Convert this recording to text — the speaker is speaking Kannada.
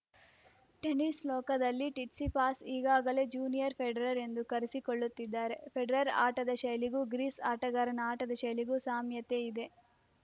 ಟೆನಿಸ್‌ ಲೋಕದಲ್ಲಿ ಟಿಟ್ಸಿಪಾಸ್‌ ಈಗಾಗಲೇ ಜೂನಿಯರ್‌ ಫೆಡರರ್‌ ಎಂದು ಕರೆಸಿಕೊಳ್ಳುತ್ತಿದ್ದಾರೆ ಫೆಡರರ್‌ ಆಟದ ಶೈಲಿಗೂ ಗ್ರೀಸ್‌ ಆಟಗಾರನ ಆಟದ ಶೈಲಿಗೂ ಸಾಮ್ಯತೆ ಇದೆ